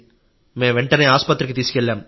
మేం వెంటనే ఆసుపత్రికి తీసుకెళ్లాం